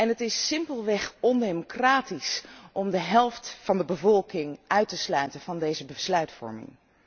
Het is simpelweg ondemocratisch om de helft van de bevolking uit te sluiten van deze besluitvorming.